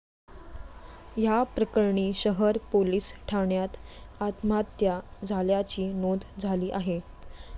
या प्रकरणी शहर पोलिस ठाण्यात आत्महत्या झाल्याची नोंद झाली आहे.